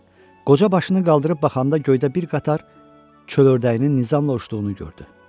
Qoca başını qaldırıb baxanda göydə bir qatar çöl ördəyinin nizamla uçduğunu gördü.